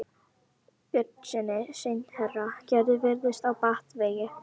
Björnssyni sendiherra: Gerður virðist á batavegi.